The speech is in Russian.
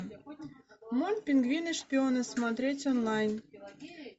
мульт пингвины шпионы смотреть онлайн